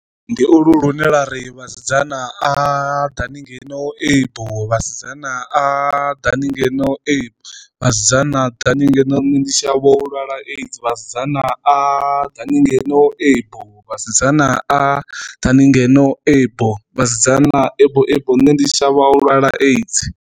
Ndi ulu lune lwari vhasidzana aa ḓakani ngeno ebo, vhasidzana aa, ḓani ngeno ebo, vhasidzana ḓani ngeno ndi shavha u lwala a_i_d_s vhasidzana aa, ḓani ngeno ebo vhasidzana a ḓani ngeno ebo, vhasidzana ebo ebo nne ndi shavha lwala a_i_d_s.